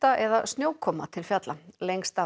eða snjókoma til fjalla lengst af